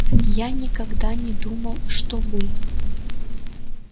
я никогда не думал что вы